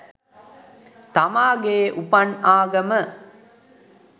තමාගේ උපන් ආගම